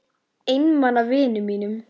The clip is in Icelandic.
Einmana vinum mínum.